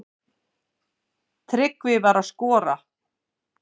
Tryggvi var að skora.